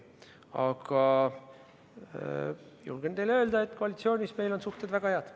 Aga julgen teile öelda, et koalitsioonis on meil suhted väga head.